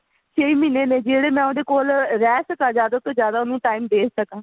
ਛੇ ਮਹੀਨੇ ਨੇ ਜੀ ਜਿਹੜੇ ਮੈਂ ਉਹਦੇ ਕੋਲ ਰਹਿ ਸਕਾਂ ਜਿਆਦਾ ਤੋਂ ਜਿਆਦਾ ਉਹਨੂੰ time ਦੇ ਸਕਾਂ